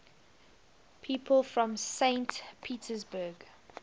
people from saint petersburg